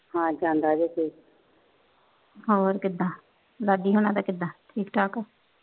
ਹੋਰ ਕਿਦਾ ਲਾਡੀ ਉਨਾ ਕੀਦਾ ਠੀਕ ਠਾਕ